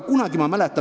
Palun lisaaega!